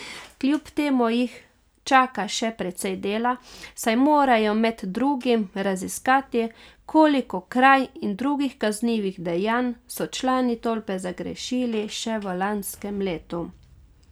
Kljub temu jih čaka še precej dela, saj morajo med drugim raziskati, koliko kraj in drugih kaznivih dejanj so člani tolpe zagrešili še v lanskem letu.